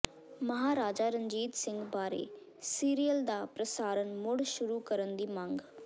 ਮਹਾਰਾਜਾ ਰਣਜੀਤ ਸਿੰਘ ਬਾਰੇ ਸੀਰੀਅਲ ਦਾ ਪ੍ਰਸਾਰਨ ਮੁੜ ਸ਼ੁਰੂ ਕਰਨ ਦੀ ਮੰਗ